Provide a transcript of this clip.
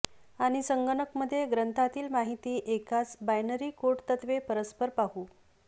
आणि संगणक मध्ये ग्रंथातील माहिती एकाच बायनरी कोड तत्त्वे परस्पर पाहू